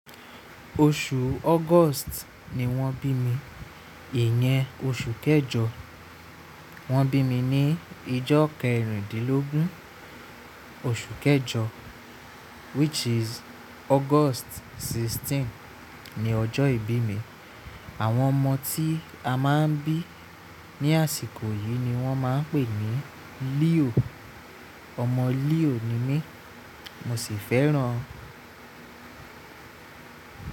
Oṣù August ni wọ́n bí mi, ìyẹn oṣù kẹjọ. Wọ́n bí mi ní ọjọ́ kẹrìndínlógún oṣù kẹjọ which is August mẹ́rìndínlógún ni ọjọ́ ìbí mi. Àwọn ọmọ tí a máa ń bí ní àsìkò yìí ni wọ́n máa ń pè ní Leo. Ọmọ Leo ni mí, mo sì fẹ́ràn ọ.